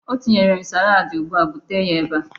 Ọ tinyere m salaadi ugbu a. Bute ya ebe a!